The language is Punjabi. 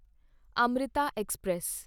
ਅਮ੍ਰਿਤਾ ਐਕਸਪ੍ਰੈਸ